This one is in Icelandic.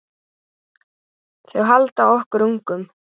Þau halda okkur ungum.